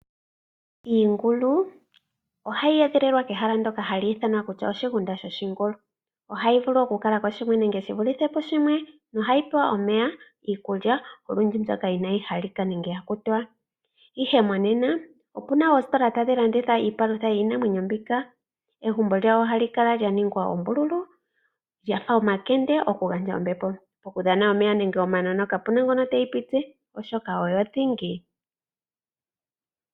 Iingulu ohayi edhililwa kehala ndoka haku tiwa oshigunda shoshingulu. Ohayi vulu oku kala ko shimwe enge yi vulithe pushimwe. Ohayi pewa omeya, iikulya, olundji iikulya mbyoka ya kutiwa nenge inaayi halika. Ihe monena opu na oositola tadhi landitha iipalutha yiinamwenyo mbika. Egumbo lyawo ohali kala lya ningwa oombululu, lyafa omakende, oku gandja ombepo, okudhana omeya nenge omanono, oshoka ka pu na ngo teyi piti oshoka oyo dhingi.